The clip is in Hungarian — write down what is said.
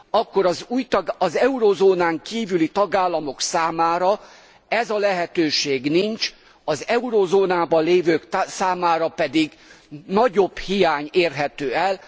akkor az eurózónán kívüli tagállamok számára ez a lehetőség nincs, az eurózónában lévők számára pedig nagyobb hiány érhető el.